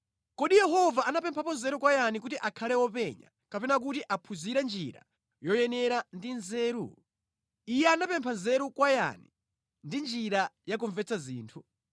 Kodi Yehova anapemphapo nzeru kwa yani kuti akhale wopenya, kapena kuti aphunzire njira yoyenera ndi nzeru? Iye anapempha nzeru kwa yani ndi njira ya kumvetsa zinthu?